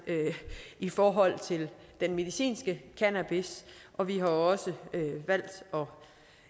i forhold til den medicinske cannabis og vi har også valgt at